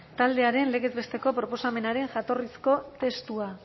taldearen legez besteko proposamenaren jatorrizko testua